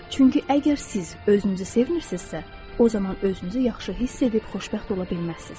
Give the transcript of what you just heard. Çünki əgər siz özünüzü sevmirsinizsə, o zaman özünüzü yaxşı hiss edib xoşbəxt ola bilməzsiniz.